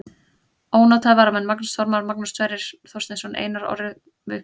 Ónotaðir varamenn: Magnús Þormar, Magnús Sverrir Þorsteinsson, Einar Orri Einarsson, Viktor Guðnason.